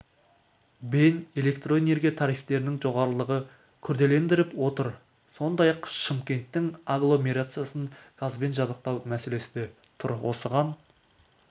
бен электроэнергия тарифтерінің жоғарылығы күрделендіріп отыр сондай-ақ шымкенттің агломерациясын газбен жабдықтау мәселесі де тұр осыған